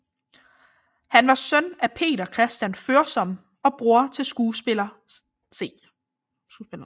Han var søn af Peter Christian Foersom og bror til skuespilleren C